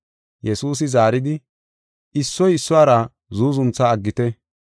Yesuusi zaaridi, “Issoy issuwara zuuzuntha aggite.